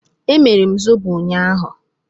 Emere m zobo ụnyaahụ.